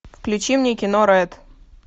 включи мне кино рэд